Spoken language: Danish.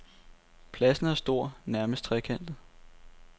Pladsen er stor, nærmest trekantet.